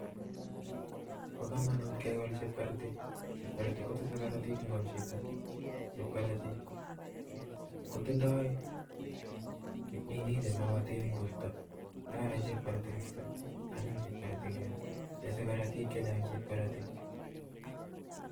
Paa kamanut kekol chepkarati chepkarati kotese karatik ngwam Chito chepkarati kotindoi kimnatet Eng porta anyiny neaaa